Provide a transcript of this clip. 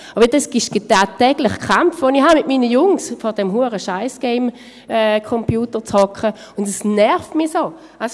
Dies ist der tagtägliche Kampf, den ich mit meinen Jungs habe, dass sie vor diesem Scheiss-Gamecomputer sitzen, und das nervt mich so!